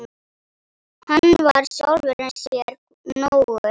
Hann var sjálfum sér nógur.